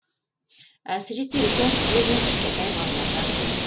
әсіресе үлкен кісілер мен кішкентай балаларға қиын